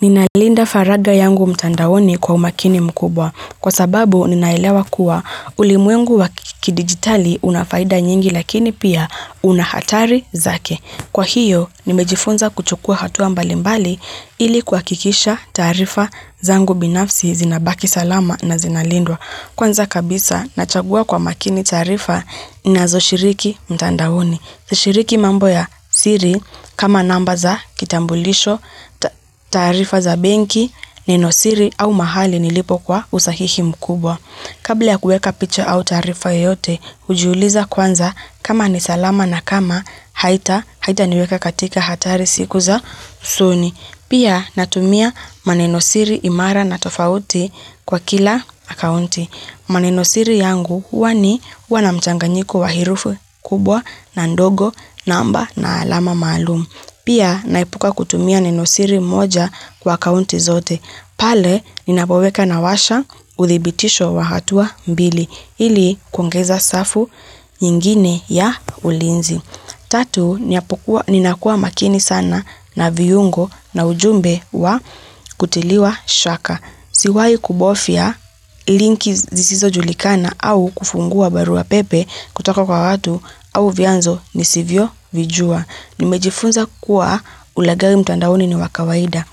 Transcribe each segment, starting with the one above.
Ninalinda faraga yangu mtandaoni kwa umakini mkubwa. Kwa sababu, ninaelewa kuwa ulimuengu wa kidigitali unafaida nyingi lakini pia unahatari zake. Kwa hiyo, nimejifunza kuchukua hatua mbali mbali ili kwakikisha tarifa zangu binafsi zinabaki salama na zinalindwa. Kwanza kabisa, nachagua kwa makini tarifa ninazo shiriki mtandahoni. Shiriki mambo ya siri, kama namba za kitambulisho, tarifa za benki, nenosiri au mahali nilipokuwa usahihi mkubwa. Kabla ya kueka picha au tarifa yote, ujiuuliza kwanza kama nisalama na kama haita, haita niweka katika hatari siku za usoni. Pia natumia manenosiri imara na tofauti kwa kila akaunti. Manenosiri yangu huwani wana mchanganyiku waherufu kubwa na ndogo namba na alama malumu. Pia naipuka kutumia nenosiri moja kwa akaunti zote. Pale ninapoweka nawasha uthibitisho wa hatua mbili. Hili kuongeza safu nyingine ya ulinzi. Tatu, ninakua makini sana na viyungo na ujumbe wa kutiliwa shaka. Siwai kubofia linki zisizo julikana au kufungua barua pepe kutoka kwa watu au vianzo ni sivyo vijua. Nimejifunza kuwa ulagawi mtandaoni ni wakawaida.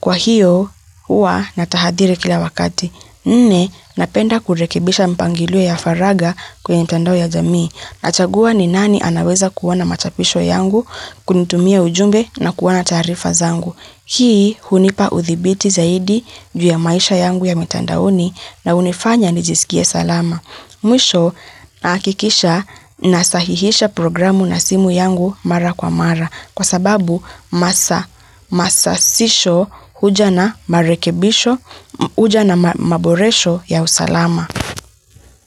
Kwa hiyo, hua natahadire kila wakati. Nne, napenda kurekebisha mpangilio ya faraga kwenye mtandao ya jamii. Nachagua ni nani anaweza kuwona machapisho yangu, kunitumia ujumbe na kuwana tarifa zangu. Hii hunipa uthibiti zaidi ju ya maisha yangu ya mitandaoni na unifanya nijisikie salama. Mwisho nakikisha nasahihisha programu na simu yangu mara kwa mara kwa sababu masa sisho huja na maboresho ya usalama.